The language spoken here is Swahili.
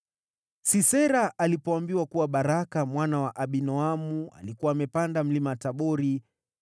Sisera alipoambiwa kuwa Baraka mwana wa Abinoamu alikuwa amepanda Mlima Tabori,